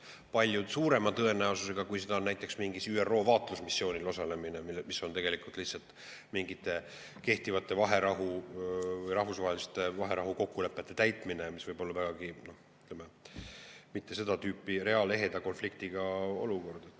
Ja seda palju suurema tõenäosusega kui näiteks mingil ÜRO vaatlusmissioonil osalemise korral, mis on tegelikult lihtsalt mingite kehtivate rahvusvaheliste vaherahukokkulepete täitmine, mis võib vägagi olla mitte seda tüüpi reaalse, eheda konfliktiga olukord.